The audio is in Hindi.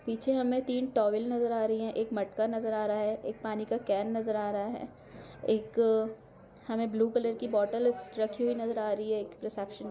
पीछे हमे तीन टॉवल नजर आ रही है एक मटका नजर आ रहा है एक पानी का कैन नजर आ रहा है एक हमे ब्लू कलर की बॉटल्स रखी हुई रिसिप्शन --